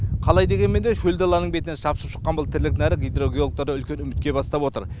қалай дегенмен де шөл даланың бетіне шапшып шыққан бұл тірлік нәрі гидрогеологтарды үлкен үмітке бастап отыр